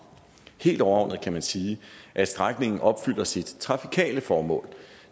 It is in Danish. helt overordnet kan man sige at strækningen opfylder sit trafikale formål